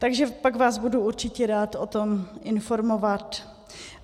Takže pak vás budu určitě rád o tom informovat."